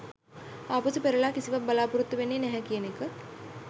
ආපසු පෙරළා කිසිවක් බලා‍පොරොත්තු වෙන්නේ නැහැ කියන එක